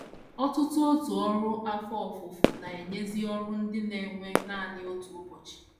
Ọtụtụ òtù ọrụ afọ ofufo na - enyezi ọrụ ndị na - ewe nanị otu ụbọchị.